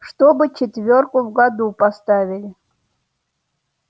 чтобы четвёрку в году поставили